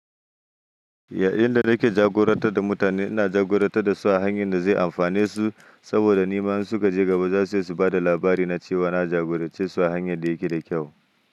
Yayin da nake jagoranta da mutane, ina jagoranta da su a hanyar da zai amfane su. Saboda nima in suka je gaba za su iya su ba da labari na cewa na jagorance su a hanyar da yake da kyau.